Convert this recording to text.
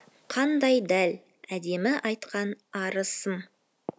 қандай дәл әдемі айтқан арысым